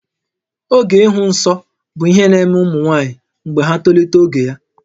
Oge ịhụ nsọ bụ ihe na-eme ụmụ nwaanyị mgbe ha tolitere ogo ya